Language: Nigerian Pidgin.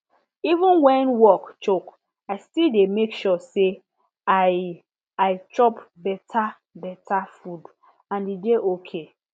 even when work choke i still dey make sure say i i chop better better food and e dey okay